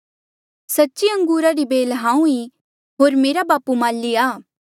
सच्ची अंगूरा री बेल हांऊँ ईं होर मेरा बापू माली आ